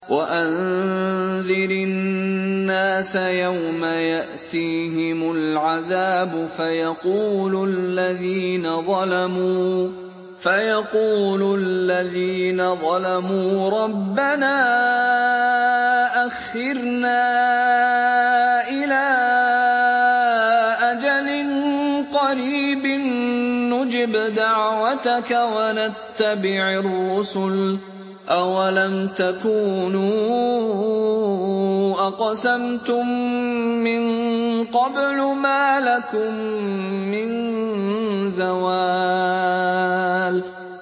وَأَنذِرِ النَّاسَ يَوْمَ يَأْتِيهِمُ الْعَذَابُ فَيَقُولُ الَّذِينَ ظَلَمُوا رَبَّنَا أَخِّرْنَا إِلَىٰ أَجَلٍ قَرِيبٍ نُّجِبْ دَعْوَتَكَ وَنَتَّبِعِ الرُّسُلَ ۗ أَوَلَمْ تَكُونُوا أَقْسَمْتُم مِّن قَبْلُ مَا لَكُم مِّن زَوَالٍ